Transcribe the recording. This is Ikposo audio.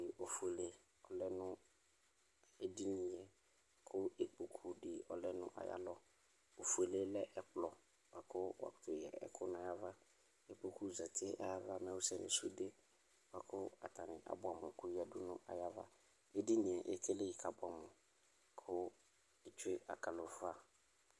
ikpokʋ oƒʋele lɛnʋ ediniyɛ kʋ ikpokʋ di oƒʋele lɛ ɛkplɔ kʋ wakʋtʋ ya ɛkʋɛdidʋ nayava nayava mɛ wʋsɛ nʋ sʋde koyadʋ nʋ ayava edinie ekeliyii